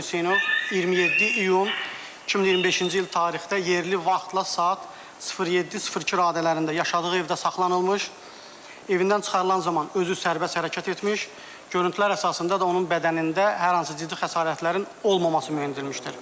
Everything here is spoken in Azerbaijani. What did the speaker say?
Hüseynov 27 iyun 2025-ci il tarixdə yerli vaxtla saat 07:02 radələrində yaşadığı evdə saxlanılmış, evindən çıxarılan zaman özü sərbəst hərəkət etmiş, görüntülər əsasında da onun bədənində hər hansı ciddi xəsarətlərin olmaması müəyyən edilmişdir.